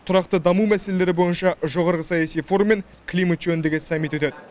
тұрақты даму мәселелері бойынша жоғарғы саяси форум мен климат жөніндегі саммит өтеді